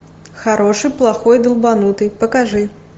хороший плохой долбанутый покажи